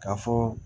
Ka fɔ